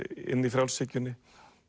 inni í frjálshyggjunni